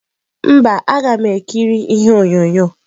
Mba, m ga-ekiri ihe onyonyo.